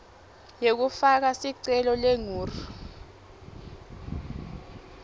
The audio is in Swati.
yekufaka sicelo lengur